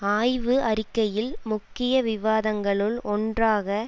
ஆய்வு அறிக்கையில் முக்கிய விவாதங்களுள் ஒன்றாக